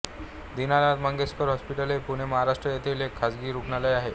Dinanath Mangeshkar Hospital हे पुणे महाराष्ट्र येथील एक खासगी रूग्णालय आहे